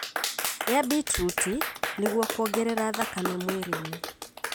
Ria beetruti nĩguo kwongerera thakame mwĩrĩinĩ.